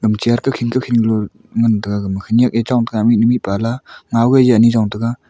ema chair khi khi lu ngan tega khanyak e chong tega mihnu mihpa ley ngao ane chon taiga.